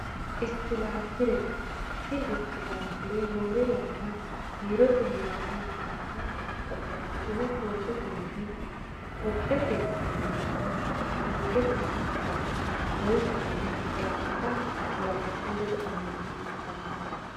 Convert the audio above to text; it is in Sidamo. Istepilerete, tini istepilere roore yana biirote heeranno manninna babaxitino fototte mine kophete minenna suukete afinanni, loosisenno woraqatta woraqattu ledo amadisiisanno